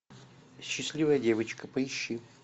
счастливая девочка поищи